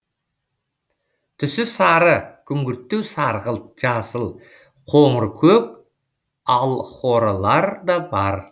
түсі сары күңгірттеу сарғылт жасыл қоңыр көк алхорылар да бар